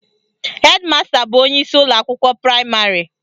Hedi masta bụ onyeisi ụlọakwụkwọ praịmarị